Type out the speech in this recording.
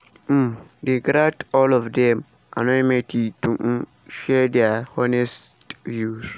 um dem grant all of dem anonymity to um share dia honest views.